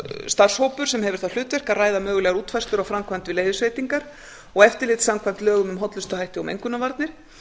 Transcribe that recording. starfshópur sem hefur það hlutverk að ræða mögulegar útfærslur á framkvæmd við leyfisveitingar og eftirlit samkvæmt lögum um hollustuhætti og mengunarvarnir